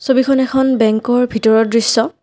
ছবিখন এখন বেংকৰ ভিতৰৰ দৃশ্য।